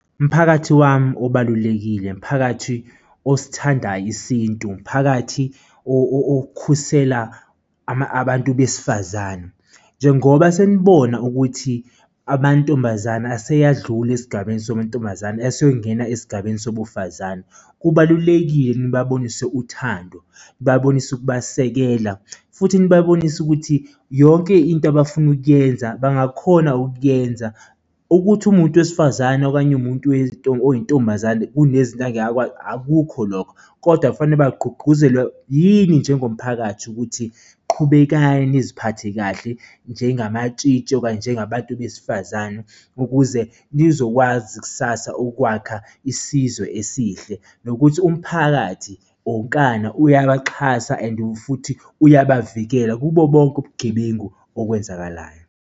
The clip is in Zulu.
Mphakathi wami obalulekile, mphakathi osithandayo isintu, mphakathi okhusela abantu besifazane, njengoba senibona ukuthi amantombazane aseyadlula esigabeni sobuntombazane asengena esigabeni sobufazane. Kubalulekile nibabonise uthando, nibabonise ukubasengela, futhi nibabonise ukuthi yonke into abafuna ukuyenza bangakhona ukuyenza, ukuthi uwumuntu wesifazane okanye uwumuntu oyintombazane kunezinto angeke akwazi, akukho lokho, kodwa kufanele bagqugquzelwe yini njengomphakathi ukuthi qhubekani niziphathe kahle njengamatshitshi okanye njengabantu abesifazane ukuze nizokwazi kusasa ukwakha isizwe esihle nokuthi umphakathi onkana uyabaxhasa and futhi uyabavikela kubo bonke ubugebengu okwenzakalayo.